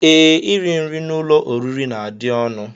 Ee, iri nri n'ụlọoriri na-adị ọnụ